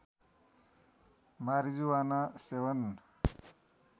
marijuana सेवन